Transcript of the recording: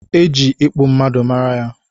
E ji ịkpụ mmadụ mara ya